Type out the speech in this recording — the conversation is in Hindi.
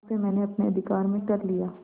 उसे मैंने अपने अधिकार में कर लिया